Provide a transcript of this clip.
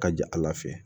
Ka ja ala fɛ